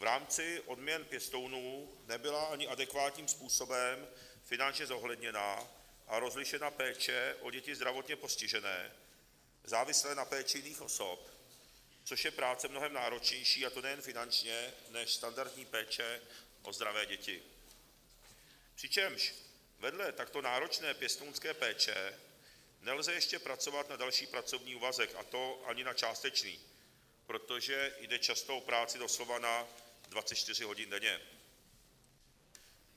V rámci odměn pěstounů nebyla ani adekvátním způsobem finančně zohledněna a rozlišena péče o děti zdravotně postižené, závislé na péči jiných osob, což je práce mnohem náročnější, a to nejen finančně, než standardní péče o zdravé věci, přičemž vedle takto náročné pěstounské péče nelze ještě pracovat na další pracovní úvazek, a to ani na částečný, protože jde často o práci doslova na 24 hodin denně.